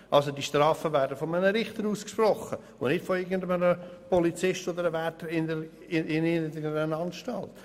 Also die Strafen werden von einem Richter ausgesprochen und nicht von irgendeinem Polizisten oder Wärter irgendeiner Anstalt.